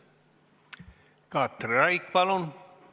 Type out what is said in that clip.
Katri Raik, palun!